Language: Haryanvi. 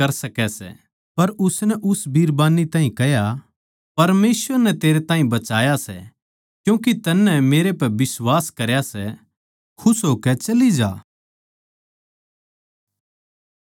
पर उसनै उस बिरबान्नी ताहीं कह्या परमेसवर नै तेरै ताहीं बचाया सै क्यूँके तन्नै मेरे पै बिश्वास करया सै खुश होकै चली जा